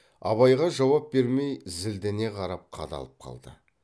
абайға жауап бермей зілдене қарап қадалып қалды